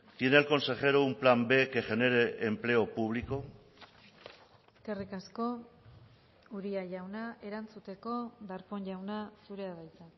tiene el consejero un plan b que genere empleo público eskerrik asko uria jauna erantzuteko darpón jauna zurea da hitza